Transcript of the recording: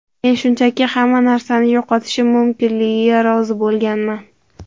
Men shunchaki hamma narsani yo‘qotishim mumkinligiga rozi bo‘lganman.